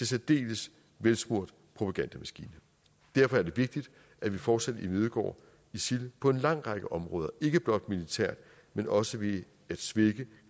særdeles velsmurt propagandamaskine derfor er det vigtigt at vi fortsat imødegår isil på en lang række områder ikke blot militært men også ved at svække